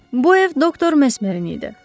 Bu ev doktor Mesmerin idi.